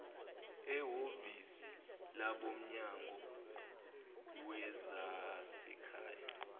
ehhovisi labomnyango wezasekhaya